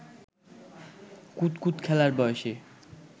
কুতকুত খেলার বয়সী